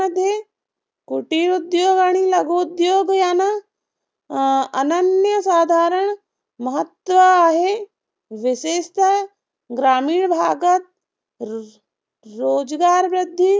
कुटिरोद्योग आणि लघुउद्योगांना अं अनन्यसाधारण महत्व आहे. विशेषतः ग्रामीण भागात र रोजगारवृद्धी